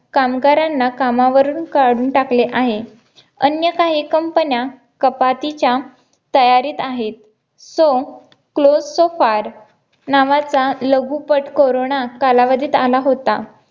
कामगारांना कामावरून काढून टाकले आहे. अन्य काही COMPANY न्या कपातीच्या तयारीत आहेत. सोंठ क्लोस्टोफर नावाचा लघुपट कोरोना कालावधीत आला होता